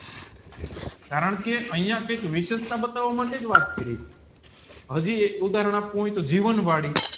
કારણ કે અહીંયા જે વિષેસતા બતાવ માટેજ વાત કરી હજી એક ઉધારણ આપ્યુ હોય તો જીવન વળી